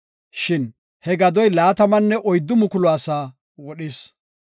Shin he gadoy laatamanne oyddu mukulu asaa wodhis.